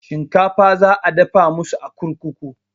Shinkafa za a dafa masu a kurkuku